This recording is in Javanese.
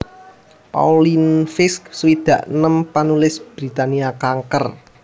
Pauline Fisk swidak enem panulis Britania kanker